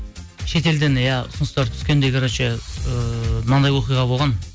шетелден иә ұсыныстар түскенде короче ыыы мынандай оқиға болған